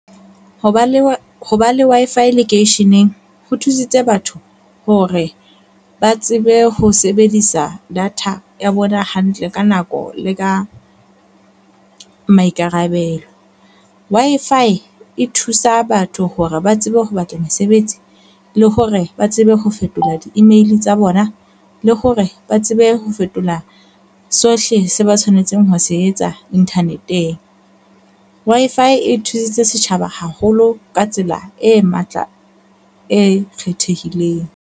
Ho ba le ho ba le Wi-Fi lekeisheneng ho thusitse batho hore ba tsebe ho sebedisa data ya bona hantle ka nako le ka maikarabelo. Wi-Fi e thusa batho hore ba tsebe ho batla mesebetsi, le hore ba tsebe ho fetola di-email tsa bona, le hore ba tsebe ho fetola sohle se ba tshwanetseng ho se etsa inthaneteng. Wi-Fi e thusitse setjhaba haholo ka tsela e matla, e kgethehileng.